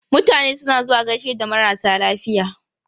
Mutane suna zuwa gaishe da marasa lafiya.